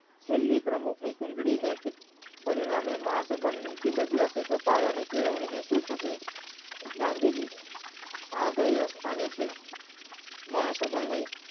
છેલ્લી પ્રમુખની કુંડળીને પરિણામે મહા સભાની ઋતુ બદલાશે તે પાયા ની કેળવણી ગાંધીજી આ ભાઈ અસ્થાન હશે મહાસભાની